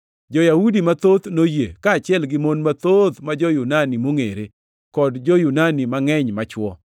Jo-Yahudi mathoth noyie, kaachiel gi mon mathoth ma jo-Yunani mongʼere, kod jo-Yunani mangʼeny machwo.